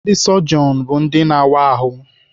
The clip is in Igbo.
Ndị sọjọn bụ ndị na-awa ahụ.